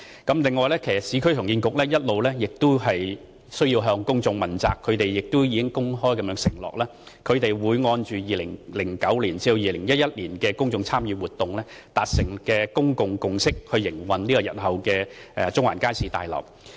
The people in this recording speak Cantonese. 此外，市建局其實亦需要向公眾問責，它亦公開承諾會按2009年至2011年公眾參與活動所達成的公眾共識，來營運日後的中環街市大樓。